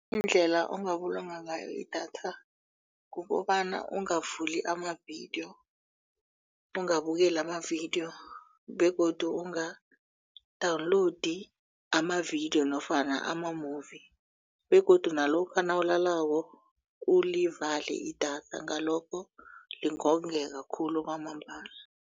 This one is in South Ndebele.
Indlela ongabulunga ngayo idatha kukobana ungavuli amavidiyo ungabukeli amavidiyo begodu unga-download amavidiyo nofana ama-movie begodu nalokha nawulalako ulivale idatha ngalokho lingongeka khulu kwamambala.